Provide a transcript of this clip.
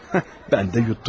Mən də yutdum.